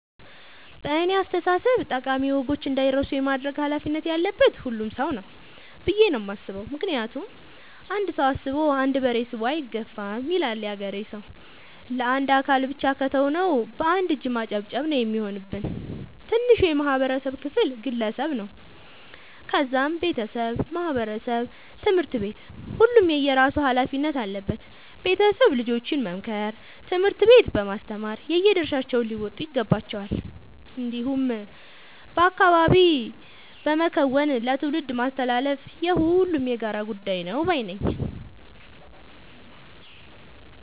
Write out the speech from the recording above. በእኔ አስተሳሰብ ጠቃሚ ወጎች እንዳይረሱ የማድረግ ኃላፊነት ያለበት ሁሉም ሰው ነው። ብዬ ነው የማስበው ምክንያቱም "አንድ ሰው አስቦ አንድ በሬ ስቦ አይገፋም " ይላል ያገሬ ሰው። ለአንድ አካል ብቻ ከተው ነው። በአንድ እጅ ማጨብጨብ ነው የሚሆንብን። ትንሹ የማህበረሰብ ክፍል ግለሰብ ነው ከዛም ቤተሰብ ማህበረሰብ ትምህርት ቤት ሁሉም የየራሱ ኃላፊነት አለበት ቤተሰብ ልጆችን በመምከር ትምህርት ቤት በማስተማር የየድርሻቸውን ሊወጡ ይገባቸዋል። እንዲሁም በአካባቢ በመከወን ለትውልድ ማስተላለፍ የሁሉም የጋራ ጉዳይ ነው ባይነኝ።